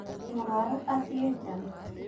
Mũrwaru athiĩ nja